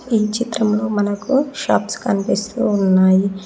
ఈ చిత్రంలో మనకు షాప్స్ కనిపిస్తూ ఉన్నాయి.